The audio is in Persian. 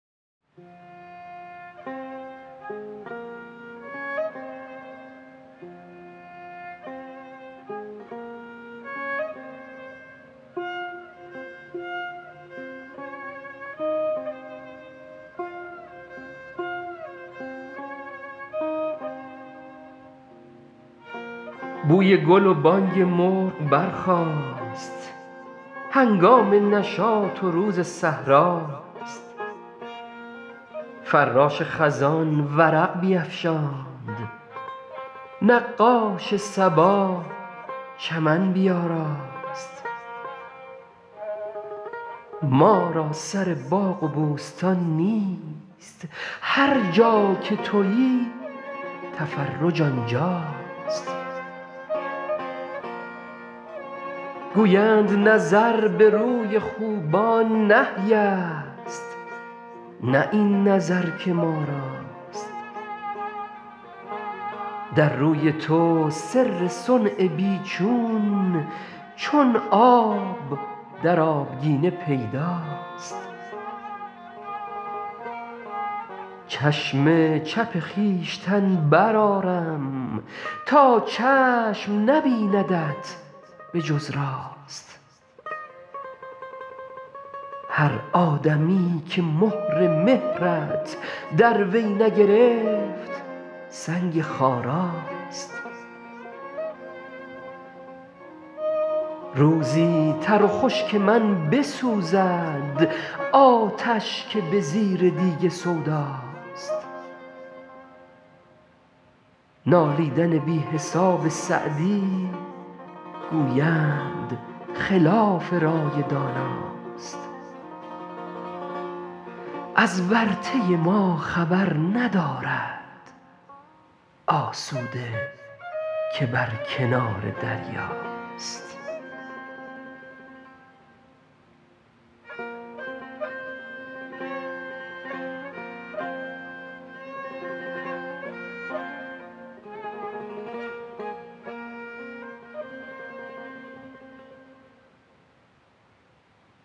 بوی گل و بانگ مرغ برخاست هنگام نشاط و روز صحرا ست فراش خزان ورق بیفشاند نقاش صبا چمن بیاراست ما را سر باغ و بوستان نیست هر جا که تویی تفرج آنجا ست گویند نظر به روی خوبان نهی ست نه این نظر که ما راست در روی تو سر صنع بی چون چون آب در آبگینه پیدا ست چشم چپ خویشتن برآرم تا چشم نبیندت به جز راست هر آدمیی که مهر مهرت در وی نگرفت سنگ خارا ست روزی تر و خشک من بسوزد آتش که به زیر دیگ سودا ست نالیدن بی حساب سعدی گویند خلاف رای دانا ست از ورطه ما خبر ندارد آسوده که بر کنار دریا ست